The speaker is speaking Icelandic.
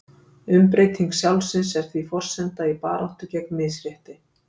Umbreyting sjálfsins er því forsenda í baráttu gegn misrétti.